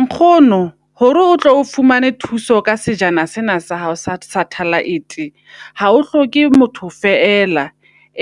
Nkgono hore o tlo o fumane thuso ka sejana sena sa hao sa -satellite, hao hloke motho fela.